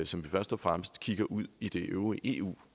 som vi først og fremmest kigger ud i det øvrige eu